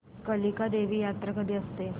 कालिका देवी यात्रा कधी असते